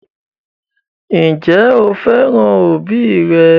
Ǹjẹ́ o fẹ́ràn òbí rẹ?